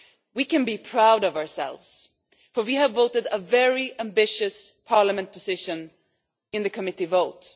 We can be proud of ourselves for we have voted for a very ambitious Parliament position in the committee vote.